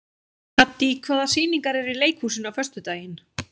Haddý, hvaða sýningar eru í leikhúsinu á föstudaginn?